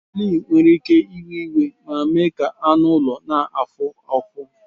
Fleas nwere ike iwe iwe ma mee ka anụ ụlọ na-afụ ụfụ